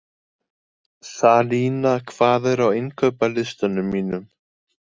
Salína, hvað er á innkaupalistanum mínum?